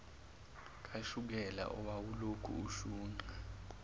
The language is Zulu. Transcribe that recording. kashukela owawulokhu ushunqa